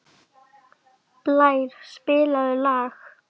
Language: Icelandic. Blær, spilaðu lag.